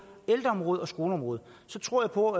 ældreområdet og skoleområdet jeg tror på